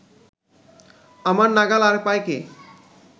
আমার নাগাল আর পায় কে